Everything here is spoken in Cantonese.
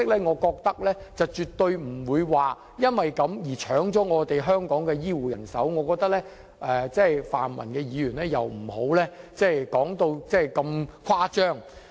我覺得用這樣的方式絕不會搶去香港的醫護人手，請泛民議員不要說得如此誇張。